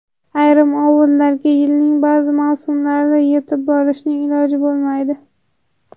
Ayrim ovullarga yilning ba’zi mavsumlarida yetib borishning iloji bo‘lmaydi.